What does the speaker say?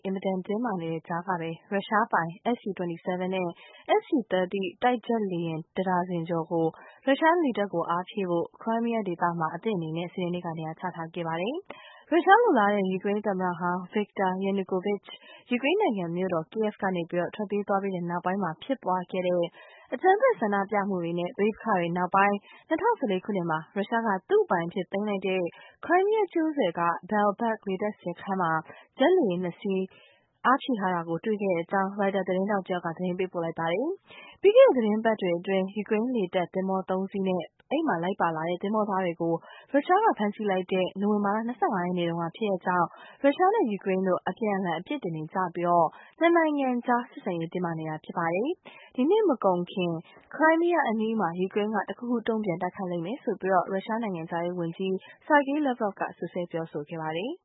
အင်မတန်တင်းမာနေတဲ့ကြားကပဲ ရုရှားပိုင် SU-27 နဲ့ SU-30 တိုက် ဂျက်လေယာဉ် ၁ ဒါဇင်ကျော်ကို ရုရှားလေတပ်ကို အားဖြည့်ဖို့ ခရိုင်းမီးယားဒေသမှာ အသင့်အနေနဲ့ စနေနေ့မှာ နေရာချထားခဲ့ပါတယ်။ ရုရှားလိုလားတဲ့ ယူကရိန်းသမ္မတဟောင်း Viktor Yanukovich ယူကရိန်းနိုင်ငံမြို့တော် Kiev ကနေ ထွက်ပြေးသွားခဲ့ပြီး ဖြစ်ပွားခဲ့တဲ့ အကြမ်းဖက်ဆန္ဒပြမှုတွေနဲ့ ပဋိပက္ခတွေနောက်ပိုင်း ၂၀၁၄ ခုနှစ်မှာ ရုရှားက သူ့အပိုင်အဖြစ်သိမ်းလိုက်တဲ့ ခရိုင်းမီးယားကျွန်းဆွယ်က Belbek လေတပ်စခန်းမှာ ဂျက် လေယာဉ် ၂ စီး ဆိုက်တာကို တွေ့ခဲ့ကြောင်း ရိုက်တာသတင်းထောက်တယောက်က သတင်းပေးပို့ ထားပါတယ်။ ပြီးခဲ့တဲ့သီတင်းပတ်တွေအတွင်း ယူကရိန်းလေတပ်သင်္ဘော ၃ စီးနဲ့ ပါလာတဲ့သင်္ဘောသားတွေကို ရုရှားက ဖမ်းဆီးလိုက်တဲ့ နိုဝင်ဘာလ ၂၅ ရက်နေ့က ဖြစ်ရပ်ကြောင့် ရုရှားနဲ့ ယူကရိန်းတို့ အပြန် အလှန် အပြစ်တင်နေကြပြီး ၂ နိုင်ငံကြား ဆက်ဆံရေး တင်းမာနေတာ ဖြစ်ပါတယ်။ ဒီနှစ်ကုန်မကုန်ခင် ခရိုင်းမီးယားအနီးမှာ ယူကရိန်းက တခုခု တုံ့ပြန်တိုက်ခိုက်လိမ့်မယ်လို့ ရုရှားနိုင်ငံခြားရေးဝန်ကြီး Sergei Lavrov က စွပ်စွဲ ပြောဆိုထားပါတယ်။